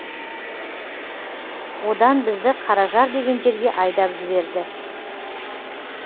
одан бізді қаражар деген жерге айдап жіберді